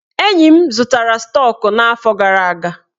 Enyi m zụtara stọk n'afọ gara aga.